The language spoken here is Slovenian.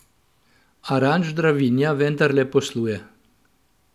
A Ranč Dravinja vendarle posluje.